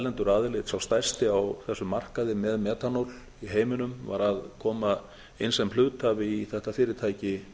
erlendur aðili sá stærsti á þessum markaði með metanól í heiminum var að koma inn sem hluthafi í þetta fyrirtæki